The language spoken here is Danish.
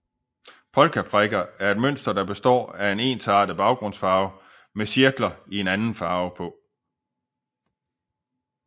Polkaprikker er et mønster der består af en ensartet baggrundsfarve med cirkler i en anden farve på